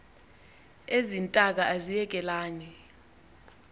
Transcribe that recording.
ezi ntaka aziyekelani